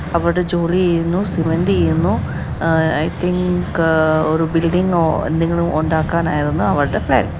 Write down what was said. അവടെ ജോലി ചെയ്യുന്നു ചെയ്യുന്നു. ഒരു ഉണ്ടാക്കാനായിരുന്നു